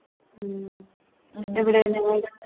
ഉം എവിടെ നിങ്ങൾടെ